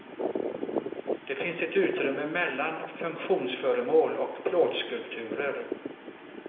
Det finns ett utrymme mellan funktionsföremål och plåtskulpturer.